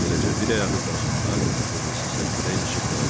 Beləcə bir ayağı qazonda, o birisi səkidə ilişib qaldı.